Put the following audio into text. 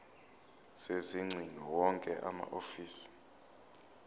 sezingcingo wonke amahhovisi